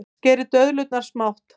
Skerið döðlurnar smátt.